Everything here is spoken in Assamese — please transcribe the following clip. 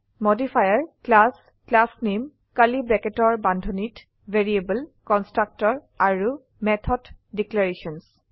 মডিফায়াৰ ক্লাছ ক্লাছনেম কাৰ্লী ব্ৰেকেট্চৰ বান্ধনীত ভেৰিয়েবল কনষ্ট্ৰাক্টৰ আৰু মেথড ডিক্লেৰেশ্যনছ